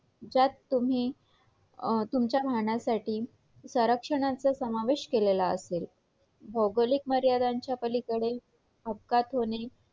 solo partnership मध्ये अ अ व्यवसाय त्या अ व्यवसायाच अ अ मालक आणि दोघांनाही समान मानले जाते अ जेव्हा व्यवसायाचा मालक अ मृत्यू होतो त्याचा व्यवसायाचा देखील मृत्यू होतो